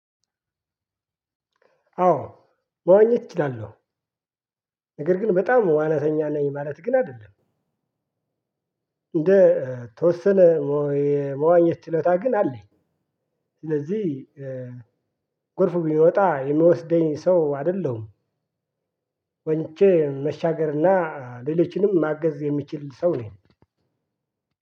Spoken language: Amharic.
አዎ መዋኘት እችላለሁ ነገር ግን በጣም ዋናተኛ ነኝ ማለት ግን አይደለም። እንደ ተወሰነ የመዋኘት ችሎታ ግን አለኝ። ስለዚህ ጎርፍ ቢመጣ የምወስደኝ ሰው አይደለሁም። ዋኝቼ መሻገርና ሌሎችንም ማገዝ የሚችል ሰው ነኝ።